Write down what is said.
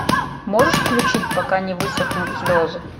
можешь включить пока не высохнут слезы